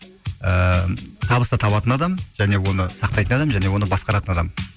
ііі табысты табатын адам және оны сақтайтын адам және оны басқаратын адам